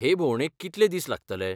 हे भोंवडेक कितले दीस लागतले?